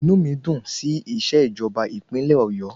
Inú mi dùn sí ìṣèjọba ìpínlẹ̀ Ọ̀yọ́